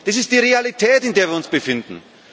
Das ist die Realität, in der wir uns befinden.